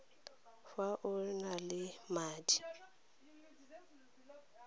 fa o na le madi